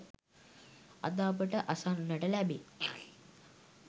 අද අපට අසන්නට ලැබේ.